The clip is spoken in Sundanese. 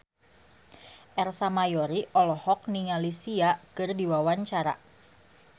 Ersa Mayori olohok ningali Sia keur diwawancara